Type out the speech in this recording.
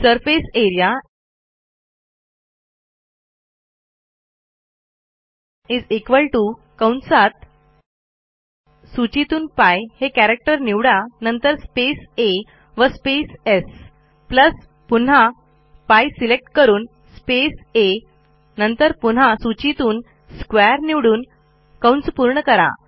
A R E A π आ स् π आ² सर्फेसियरिया कंसात सूचीतून π हे कॅरॅक्टर निवडा नंतर स्पेस आ व स्पेस स् प्लस पुन्हा π सिलेक्ट करून स्पेस आ नंतर पुन्हा सूचीतून स्क्वेअर निवडून पूर्ण करा